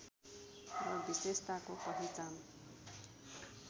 र विशेषताको पहिचान